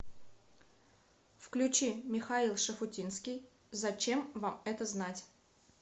включи михаил шуфутинский зачем вам это знать